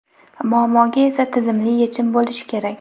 muammoga esa tizimli yechim bo‘lishi kerak.